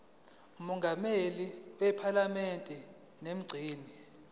mongameli wephalamende nomgcini